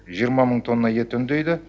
жиырма мың тонна ет өңдейді